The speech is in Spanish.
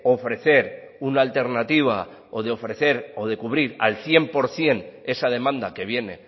ofrecer una alternativa o de ofrecer o de cubrir al cien por ciento esa demanda que viene